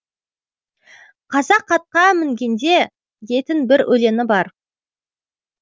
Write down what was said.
қазақ атқа мінгенде дейтін бір өлеңі бар